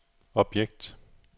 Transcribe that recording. objekt